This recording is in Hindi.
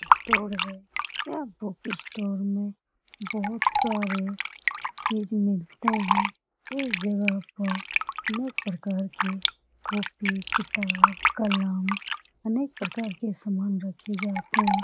स्टोर है यह बुक स्टोर में बहुत सारे चीज़ मिलते है इस जगह पर अनेक प्रकार की कॉपी किताब कलम अनेक प्रकार के समान रखे जाते --